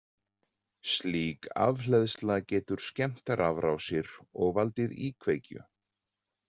Slík afhleðsla getur skemmt rafrásir og valdið íkveikju.